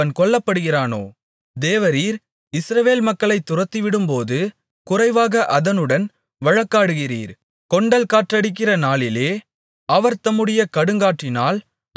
தேவரீர் இஸ்ரவேல் மக்களைத் துரத்திவிடும்போது குறைவாக அதனுடன் வழக்காடுகிறீர் கொண்டல் காற்றடிக்கிற நாளிலே அவர் தம்முடைய கடுங்காற்றினால் அதை விலக்கிவிடுகிறார்